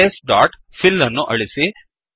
arrays dot file ಅನ್ನು ಅಳಿಸಿ